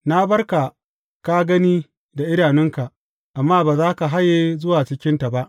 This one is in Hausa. Na bar ka ka gani da idanunka, amma ba za ka haye zuwa cikinta ba.